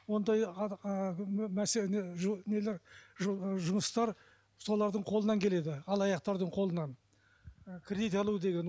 ондай нелер жұмыстар солардың қолынан келеді алаяқтардың қолынан кредит алу деген